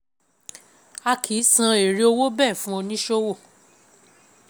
ii)A kì í san èrè owó bẹ́ẹ̀ fún oníṣòwò,